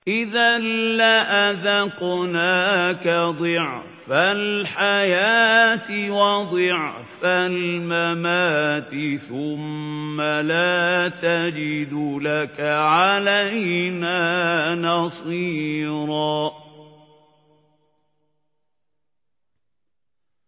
إِذًا لَّأَذَقْنَاكَ ضِعْفَ الْحَيَاةِ وَضِعْفَ الْمَمَاتِ ثُمَّ لَا تَجِدُ لَكَ عَلَيْنَا نَصِيرًا